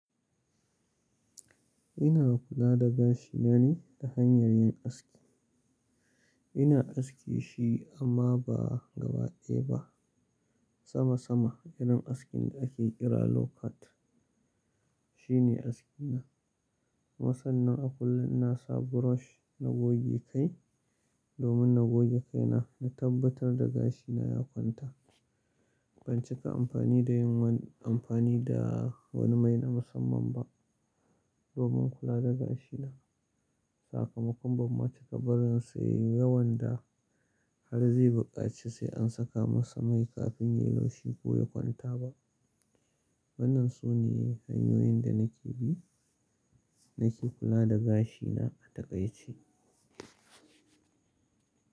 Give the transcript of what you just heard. Ina kula da gashina ne ta hanyar yin aski. Ina aske shi amma ba gabaɗaya ba. Sama sama irin askin da ake kira low cut shine askina. Masan nan a kullum na sa brush na goge kai domin na goge kaina na tabbatar da gashina ya kwanta. Ban cika amfani da yin wani amfani da wani mai na musamman ba domin kula da gashina. Sakamakon ban ma taba barin sa yayi yawan da har zai buƙaci sai an saka masa mai kafin ya loshi ko ya kwanta ba. Wannan sune hanyoyin da nake bi nake kula da gashina a takaice.